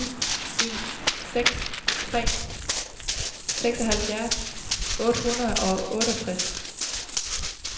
ni en seks tre seksoghalvfjerds otte hundrede og otteogtres